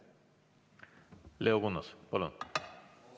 Leo Kunnas, palun!